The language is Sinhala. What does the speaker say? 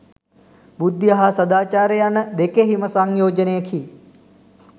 බුද්ධිය හා සදාචාරය යන දෙකෙහිම සංයෝජනයකි.